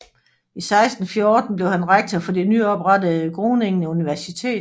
I 1614 blev han rektor for det nyoprettede Groningen Universitet